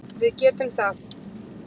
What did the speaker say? Við getum það